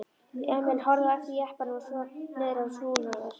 Emil horfði á eftir jeppanum og svo niðrað Húnaveri.